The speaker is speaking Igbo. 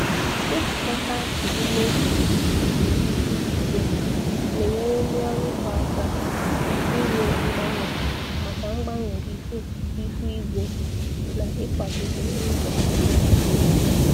Ijikọta omume iguzogide ihu igwe na-enyere ndị ọrụ ugbo aka ime mgbanwe maka mgbanwe ihu ihu igwe na ịkwagide ndụ.